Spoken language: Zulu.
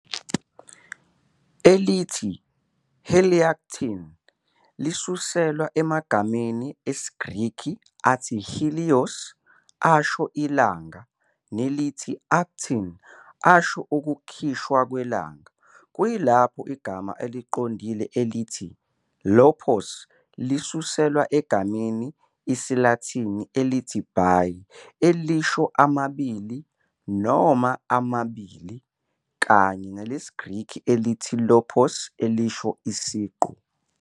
elithi "I-heliactin" lisuselwa emagameni IsiGreki athi helios asho "ilanga" nelithi "i-aktin" asho "ukukhishwa kwelanga", kuyilapho igama eliqondile elithi "i-lophos" lisuselwa egameni IsiLatini elithi bi elisho "amabili" noma "amabili", kanye nelesiGreki elithi lophos elisho "isiqu".